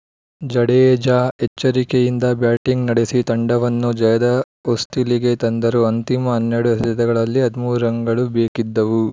ಜಡೇಜಾ ಎಚ್ಚರಿಕೆಯಿಂದ ಬ್ಯಾಟಿಂಗ್‌ ನಡೆಸಿ ತಂಡವನ್ನು ಜಯದ ಹೊಸ್ತಿಲಿಗೆ ತಂದರು ಅಂತಿಮ ಹನ್ನೆರಡು ಎಸೆತಗಳಲ್ಲಿ ಹದಿಮೂರು ರನ್‌ಗಳು ಬೇಕಿದ್ದವು